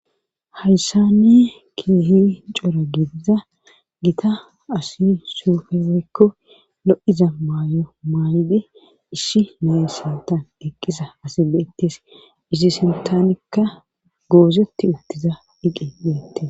Hayssanne keehi cora gidiza gita asi suufeweykko lo'iza maayo maay'di ishi nayyssata eqqisa asi beettes isshi sintanikka goozeti uttiza diqe yoette